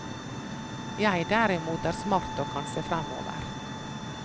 Jeg derimot er smart og kan se fremover.